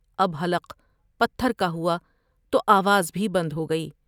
اب حلق پتھر کا ہوا تو آواز بھی بند ہوگئی ۔